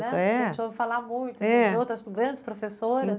A gente ouve falar muito grandes professoras.